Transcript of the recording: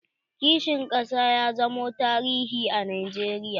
Kishin ƙasa ya zamo tarihi a najeriya.